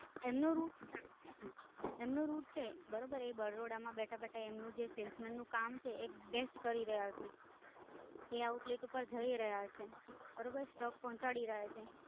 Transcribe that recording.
એમનો route છે બરોબર એ બરોડા માં બેઠા બેઠા એમનું જે salesman નું કામ છે એ the best કરી રહ્યા છે. એ outlay પાર જય રહ્યા છે.